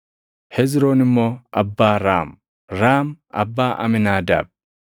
Hezroon immoo abbaa Raam; Raam abbaa Amiinaadaab;